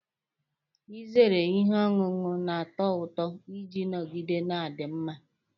Ị zeere ihe ọṅụṅụ na-ato ụtọ iji nọgide na-adị mma.